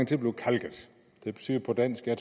til at blive kalket det betyder på dansk at